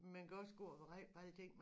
Man kan også gå og være ræd for alting